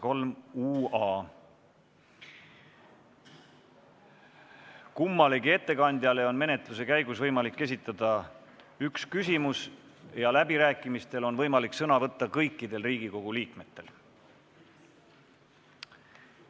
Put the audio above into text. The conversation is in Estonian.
Kummalegi ettekandjale on igal Riigikogu liikmel menetluse käigus võimalik esitada üks küsimus ja läbirääkimistel on võimalik sõna võtta kõikidel Riigikogu liikmetel.